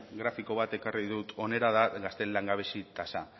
grafiko bat ekarri dut hona da gazteen langabezia tasa